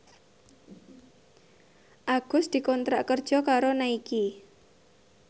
Agus dikontrak kerja karo Nike